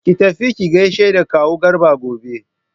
Ki tafi ki gaishe da kawu Garba gobe!